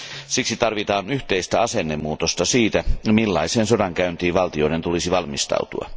Siksi tarvitaan yhteistä asennemuutosta siihen, millaiseen sodankäyntiin valtioiden tulisi valmistautua.